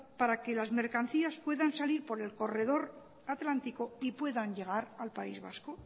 para que las mercancías puedan salir por el corredor atlántico y puedan llegar al país vasco